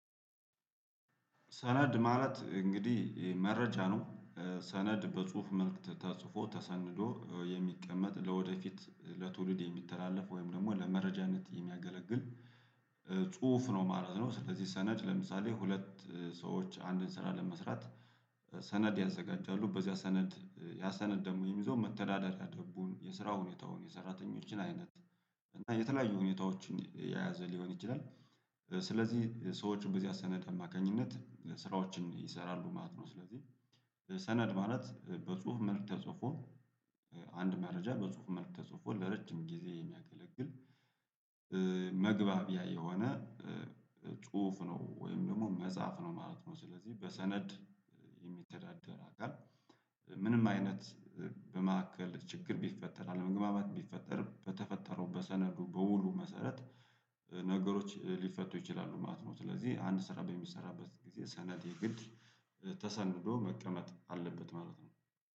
ሰነድ ማለት እንግዲህ መረጃ ነው ሰነድ በጽሁፍ መልክ ተጽፎ ተሰንዶ የሚቀመጥ ለወደፊት ለትውልድ የሚተላለፍ ወይም ደግሞ ለመረጃነት የሚያገለግል ጽሁፍ ነው ማለት ነው። ስለዚህ ሰነድ ለምሳሌ ሁለት ሰዎች አንድን ስራ ለመስራት ሰነድ ያዘጋጃሉ በዚያ ሰነድ ያሰነድ ደግሞ የሚይዘው መተዳደሪያ ደንቡን የስራውን ሁኔታው የሰራተኞችን አይነት እና የተለያዩ ሁኔታዎችን የያዘ ሊሆን ይችላል። ስለዚህ ሰዎችን በዚያ ሰነድ አማካኝነት ስራዎችን ይሰራሉ ማለት ነው። ስለዚህ ሰነድ ማለት በጽሁፍ መልክ ተጽፎ አንድ መረጃ በጽሁፍ መልክ ተጽፎ ለረጅም ጊዜ የሚያገለግል መግባቢያ የሆነ ጽሁፍ ነው ወይም ደግሞ መጽሐፍ ነው ማለት ነው። ስለዚህ በሰነድ የሚተዳደር አካል ምንም አይነት በመካከል ችግር ቢፈጠር አለመግባባት ቢፈጠር በተፈጠረው በሰነዱ በውሉ መሰረት ነገሮች ሊፈቱ ይችላሉ ማለት ነው። ስለዚህ አንድ ስራ በሚሰራበት ጊዜ ሰነዴ የግድ ተሰንዶ መቀመጥ አለበት ማለት ነው